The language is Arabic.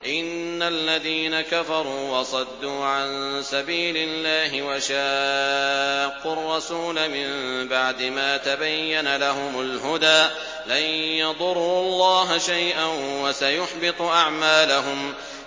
إِنَّ الَّذِينَ كَفَرُوا وَصَدُّوا عَن سَبِيلِ اللَّهِ وَشَاقُّوا الرَّسُولَ مِن بَعْدِ مَا تَبَيَّنَ لَهُمُ الْهُدَىٰ لَن يَضُرُّوا اللَّهَ شَيْئًا وَسَيُحْبِطُ أَعْمَالَهُمْ